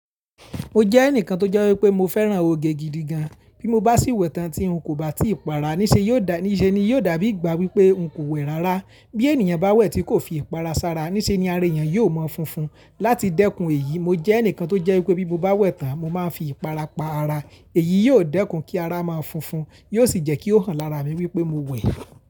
Mo jẹ́ ẹnìkan tó jẹ́ wípé mo fẹ́ràn oge gidi gan. Bí mo bá sì wẹ̀ tán tí n kò bá ti para níṣe, yóò dà níṣe ni yóò dàbí ìgbà wípé n kò wẹ̀ rárá. Bí ènìyàn bá wẹ̀ tí kò fi ìpara sára, níṣe ni ara ènìyàn yóò mọ́ funfun. Láti dẹ́kun èyí, mo jẹ́ ẹnìkan tó jẹ́ wípé bí mo bá wẹ̀ tán, mo máa ń fi ìpara pa ara. Èyí yóò dẹ́kun kí ara máa funfun, yóò sì jẹ́ kí ó hàn lára mi wípé mo wẹ̀